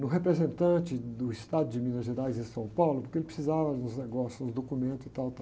no representante do estado de Minas Gerais e São Paulo, porque ele precisava de uns negócios, dos documentos e tal, tal